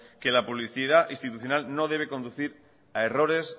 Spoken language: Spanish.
que la publicidad institucional no debe conducir a errores